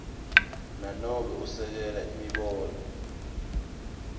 nanobe esekela imibono